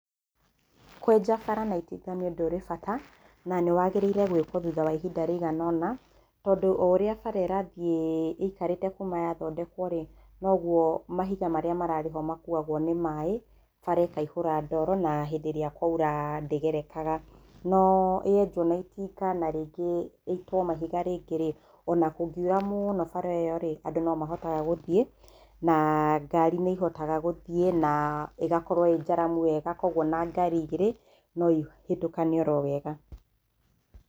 Kwĩnja bara na itinga nĩ ũndũ ũrĩ bata, na nĩ wagĩrĩire gwĩkwo thutha wa ihinda rĩigana ũna tondũ o ũrĩa bara ĩrathiĩ ĩikarĩte kuuma yathondekwo rĩ, noguo mahiga marĩa mararĩ ho makuagwo nĩ maĩ, bara ĩkaihũra ndoro na hĩndĩ ĩrĩa kwaura ndĩgerekaga.No yenjwa na itinga na rĩngĩ ĩitwo mahiga rĩngĩ rĩ,o na kũngiura mũno bara ĩo rĩ, andũ no mahotaga gũthiĩ, na ngari nĩ ihotaga gũthiĩ, na ĩgakorũo ĩ njaramu wega kwoguo o na ngari igĩrĩ no ihĩtũkane o wega.